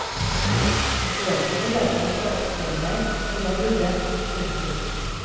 Bøkene hjalp meg til å oppføre meg som jeg burde. punktum